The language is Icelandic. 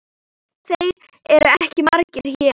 Þeir eru ekki margir hér.